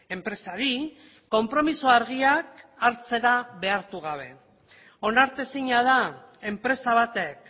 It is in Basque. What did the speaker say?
enpresari konpromiso argiak hartzera behartu gabe onartezina da enpresa batek